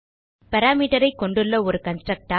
parameter ஐ கொண்டுள்ள ஒரு கன்ஸ்ட்ரக்டர்